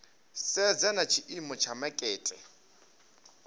sedza na tshiimo tsha makete